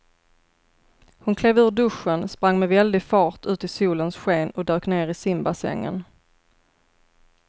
Hon klev ur duschen, sprang med väldig fart ut i solens sken och dök ner i simbassängen.